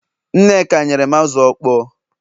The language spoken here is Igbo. nneka nyerem azu okpo